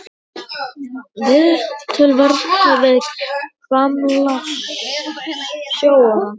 Viðtöl verða við gamla sjóara.